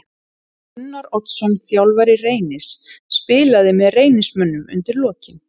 Gunnar Oddsson þjálfari Reynis spilaði með Reynismönnum undir lokin.